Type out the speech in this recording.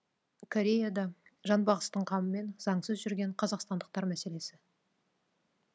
кореяда жанбағыстың қамымен заңсыз жүрген қазақстандықтар мәселесі